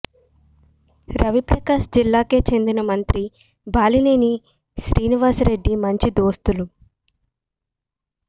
రవి ప్రకాశం జిల్లాకే చెందిన మంత్రి బాలినేని శ్రీనివాస్రెడ్డి మంచి దోస్త్లు